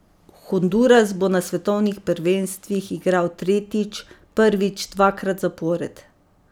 Honduras bo na svetovnih prvenstvih igral tretjič, prvič dvakrat zapored.